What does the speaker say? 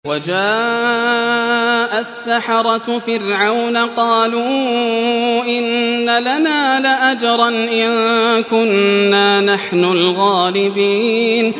وَجَاءَ السَّحَرَةُ فِرْعَوْنَ قَالُوا إِنَّ لَنَا لَأَجْرًا إِن كُنَّا نَحْنُ الْغَالِبِينَ